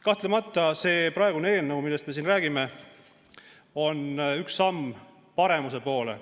Kahtlemata on see eelnõu, millest me siin räägime, üks samm paremuse poole.